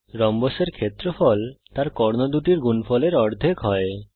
রম্বসের ক্ষেত্রফল তার কর্ণ দুটির গুনফলের অর্ধেক হয়